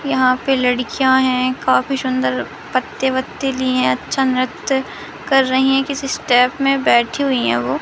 यहां पे लड़कियां हैं काफी सुंदर पत्ते वत्ते लिए है अच्छा नृत्य कर रही हैं किसी स्टेप में बैठी हुई हैं वो।